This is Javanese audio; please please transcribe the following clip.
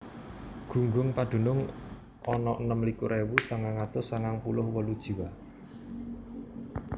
Gunggung padunung ana enem likur ewu sangang atus sangang puluh wolu jiwa